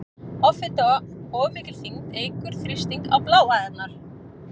Offita- Of mikil þyngd eykur þrýsting á bláæðarnar.